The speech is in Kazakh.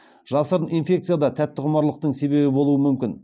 жасырын инфекция да тәттіқұмарлықтың себебі болуы мүмкін